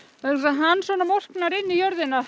hann morknar inn í jörðina